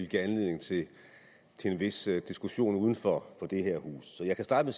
give anledning til til en vis diskussion uden for det her hus så jeg kan starte